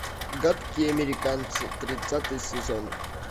гадкие американцы тридцатый сезон